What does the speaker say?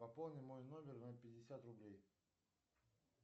пополни мой номер на пятьдесят рублей